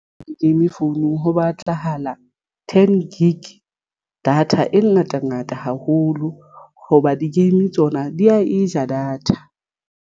Di-game founung ho batlahala ten gig data e ngata ngata haholo hoba di-game tsona di ya e ja data.